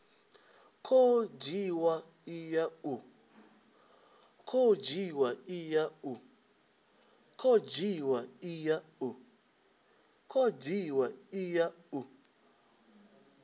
khou dzhiwa i ya u